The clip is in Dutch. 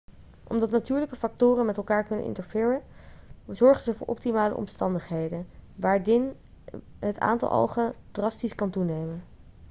omdat natuurlijke factoren met elkaar kunnen interfereren zorgen ze voor optimale omstandigheden waardin het aantal algen drastisch kan toenemen